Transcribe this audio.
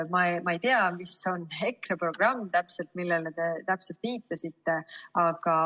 Ma ei tea, mis on täpselt EKRE programmis, millele te viitasite.